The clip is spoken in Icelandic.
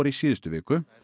í síðustu viku